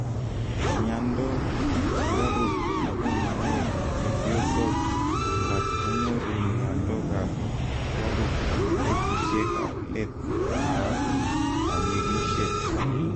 miando ap sugaruk nebo maet chepyosok alak konyoru miando ap sugaruk eng petushek ap let ap kanyigishet